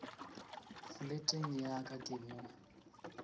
foleteng ya ka ke mo